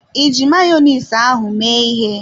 Iji Mayonezi ahụ mee ịhe?